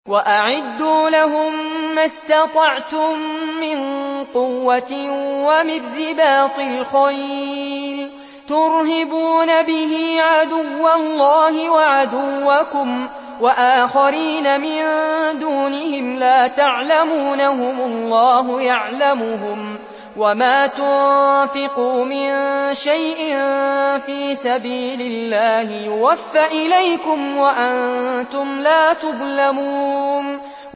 وَأَعِدُّوا لَهُم مَّا اسْتَطَعْتُم مِّن قُوَّةٍ وَمِن رِّبَاطِ الْخَيْلِ تُرْهِبُونَ بِهِ عَدُوَّ اللَّهِ وَعَدُوَّكُمْ وَآخَرِينَ مِن دُونِهِمْ لَا تَعْلَمُونَهُمُ اللَّهُ يَعْلَمُهُمْ ۚ وَمَا تُنفِقُوا مِن شَيْءٍ فِي سَبِيلِ اللَّهِ يُوَفَّ إِلَيْكُمْ وَأَنتُمْ لَا تُظْلَمُونَ